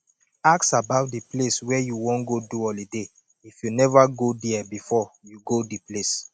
ask about di place wey you wan go do holiday if you nova go there before you go di place